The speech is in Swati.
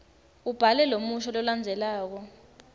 ubhale lomusho lolandzelako